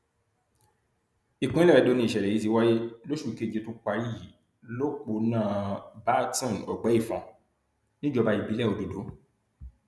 ìpínlẹ edo nìṣẹlẹ yìí ti wáyé lóṣù keje tó parí yìí lọpọnà byrton ọgbẹífun níjọba ìbílẹ ododo